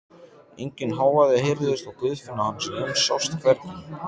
Enginn hávaði heyrðist og Guðfinna hans Jóns sást hvergi.